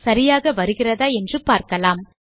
சரியாக வருகிறதா என்று பார்க்கலாம்